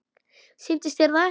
Sýnist þér það ekki?